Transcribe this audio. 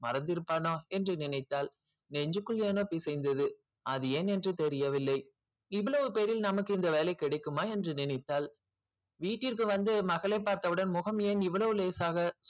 மறந்திருப்பானா என்று நினைத்தாள் நெஞ்சுக்குள் ஏனோ பிசைந்தது அது ஏன் என்று தெரியவில்லை இவ்வளவு பேரில் நமக்கு இந்த வேலை கிடைக்குமா என்று நினைத்தாள் வீட்டிற்கு வந்து மகளை பார்த்தவுடன் முகம் ஏன் இவ்வளவு லேசாக